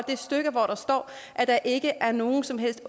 stykke hvor der står at der ikke er nogen som helst